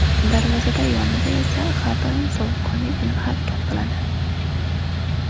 Darvozada yonida esa har doim sovuqqonlik bilan harakat qiladi.